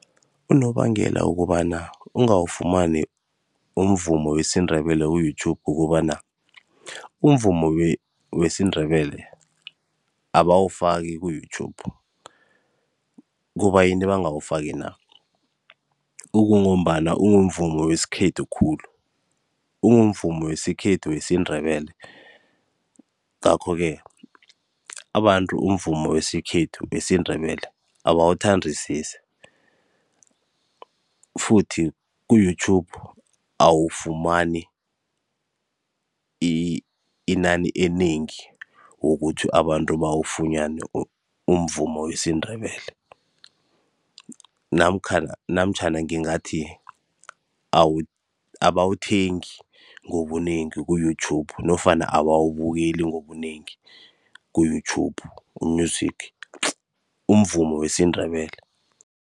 Unobangela wokobana kungani ungawufumani umvumo wesiNdebele ku-YouTube, kukobana umvumo wesiNdebele abawufaki ku-YouTube, kubayini bangawufaki na? Kungombana kumvumo wesikhethu khulu, kumvumo wesikhethu wesiNdebele. Ngakho-ke, abantu umvumo wesikhethu wesiNdebele abawuthandisisi, futhi ku-YouTube awufumani inani enengi wokuthi abantu bawufumane umvumo wesiNdebele namtjhana ngingathi abawuthengi ngobunengi ku-YouTube, nofana abawubukeli ngobunengi ku-YouTube u-Music umvumo wesiNdebele.